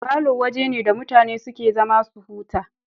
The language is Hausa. Falo waje ne da mutane suke zama su huta